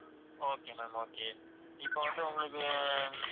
okay ma'am okay இப்ப வந்து உங்களுக்கு அஹ்